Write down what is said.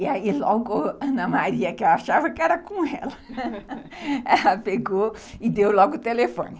E aí logo Ana Maria, que eu achava que era com ela, pegou e deu logo o telefone.